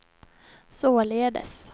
således